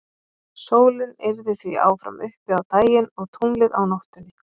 sólin yrði því áfram uppi á daginn og tunglið á nóttunni